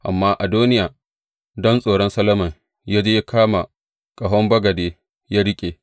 Amma Adoniya, don tsoron Solomon, ya je ya kama ƙahon bagade ya riƙe.